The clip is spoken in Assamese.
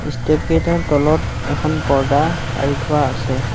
ষ্টেপ কেইটাৰ তলত এখন পৰ্দা আঁৰি থোৱা আছে।